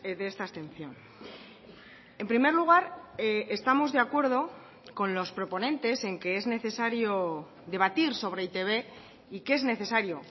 de esta abstención en primer lugar estamos de acuerdo con los proponentes en que es necesario debatir sobre e i te be y que es necesario